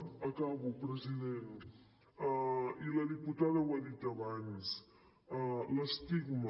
acabo president i la diputada ho ha dit abans l’estigma